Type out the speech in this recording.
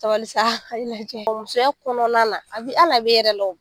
Sabali sa a lajɛ musoya kɔnɔna a bi hal'a bɛ e yɛrɛ la